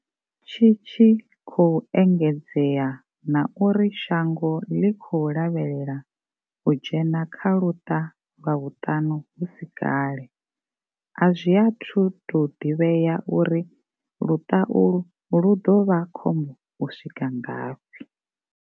Tshi tshi khou engedzea na uri shango ḽi khou lavhelela u dzhena kha luṱa lwa vhuṱanu hu si kale, a zwi athu tou ḓivhea uri luṱa ulwu lu ḓo vha khombo u swika ngafhi.